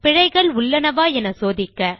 பிழைகள் உள்ளவனா என சோதிக்க